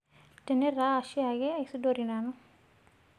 Tene taa shaake aisudori nanu